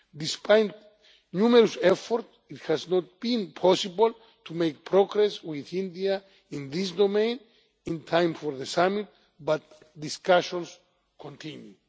Despite numerous efforts, it has not been possible to make progress with India in this domain in time for the summit, but discussions continue.